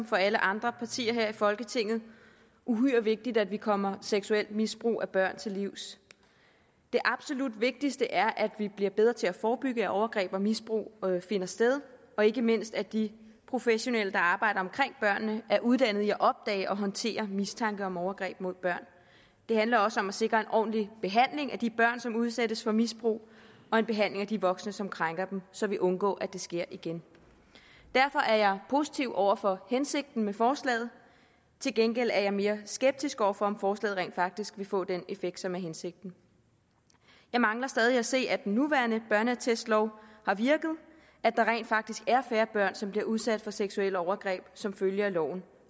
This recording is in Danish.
for alle andre partier her i folketinget uhyre vigtigt at vi kommer seksuelt misbrug af børn til livs det absolut vigtigste er at vi bliver bedre til at forebygge at overgreb og misbrug finder sted og ikke mindst at de professionelle der arbejder omkring børnene er uddannede i at opdage og håndtere mistanke om overgreb mod børn det handler også om at sikre en ordentlig behandling af de børn som udsættes for misbrug og en behandling af de voksne som krænker dem så vi undgår at det sker igen derfor er jeg positiv over for hensigten med forslaget til gengæld er jeg mere skeptisk over for om forslaget rent faktisk vil få den effekt som er hensigten jeg mangler stadig at se at den nuværende børneattestlov har virket at der rent faktisk er færre børn som bliver udsat for seksuelle overgreb som følge af loven